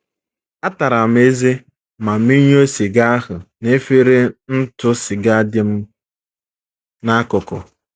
Ataram m ezé ma meyuo siga ahụ n’efere ntụ siga dị m n’akụkụ.